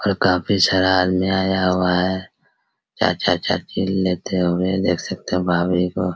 और काफी सारा आदमी आया हुआ है चाचा-चाची लेते हुए देख सकते हो भाभी को।